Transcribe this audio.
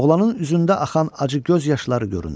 Oğlanın üzündə axan acı göz yaşları göründü.